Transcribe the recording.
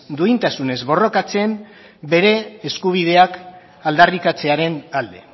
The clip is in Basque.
duintasunez borrokatzen bere eskubideak aldarrikatzearen alde